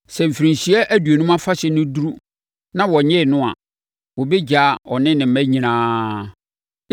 “ ‘Sɛ Mfirinhyia Aduonum Afahyɛ no duru na wɔnnyee no a, wɔbɛgyaa ɔne ne mma nyinaa.